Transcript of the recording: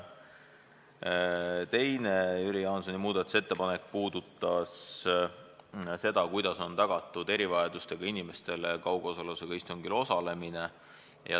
Teine Jüri Jaansoni muudatusettepanek puudutas seda, kuidas on tagatud erivajadustega inimestele kaugosalusega istungil osalemine.